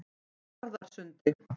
Njarðarsundi